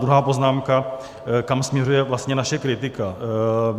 Druhá poznámka, kam směřuje vlastně naše kritika.